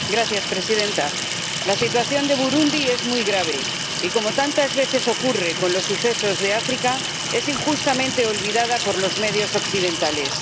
Señora Presidenta, la situación de Burundi es muy grave y, como tantas veces ocurre con los sucesos de África, es injustamente olvidada por los medios occidentales.